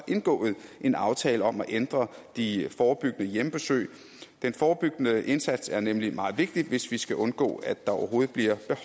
indgået en aftale om at ændre de forebyggende hjemmebesøg den forebyggende indsats er nemlig meget vigtig hvis vi skal undgå at der overhovedet bliver